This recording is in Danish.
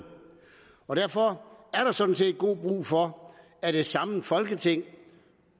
og derfor er der sådan set god brug for at et samlet folketing